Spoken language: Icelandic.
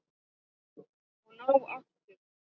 Og ná áttum.